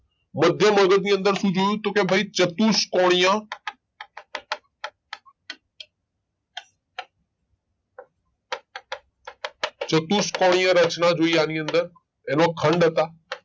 મધ્ય મગજ ની અંદર શું જોયું તો કે ભઈ ચતુષ્કોણીય ચતુષ્કોણીય રચના જોઈ આની અંદર એનો ખંડ હતા.